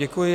Děkuji.